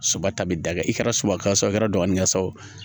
Soba ta bi da kɛ i kɛra subasa ye o kɛra dɔgɔnin ka sa o